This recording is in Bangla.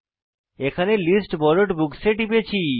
এখানে লিস্ট বরোড বুকস এ টিপেছি